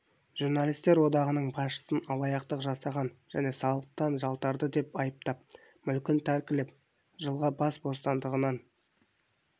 журналистер одағының басшысын алаяқтық жасаған және салықтан жалтарды деп айыптап мүлкін тәркілеп жылға бас бостандығынан